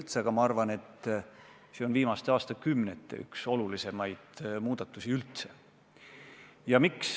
Mina arvan, et see on üks viimaste aastakümnete kõige olulisemaid muudatusi üldse.